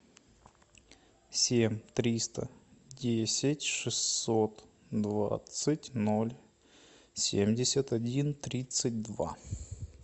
семь триста десять шестьсот двадцать ноль семьдесят один тридцать два